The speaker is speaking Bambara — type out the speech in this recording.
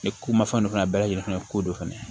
Ni ko mafɛn dɔ fana bɛɛ lajɛlen fɛnɛ ye ko dɔ fɛnɛ ye